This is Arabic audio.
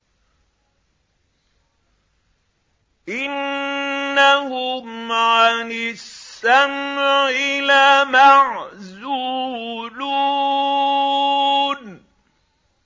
إِنَّهُمْ عَنِ السَّمْعِ لَمَعْزُولُونَ